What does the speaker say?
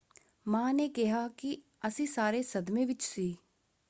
ਮਾਂ ਨੇ ਕਿਹਾ ਕਿ ਅਸੀਂ ਸਾਰੇ ਸਦਮੇ ਵਿੱਚ ਸੀ।